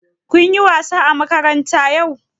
Kun yi wasa a makaranta yau?